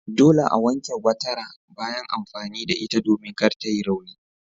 Dole a wanke gwatara bayan amfani da ita domin kar ta yi rauni.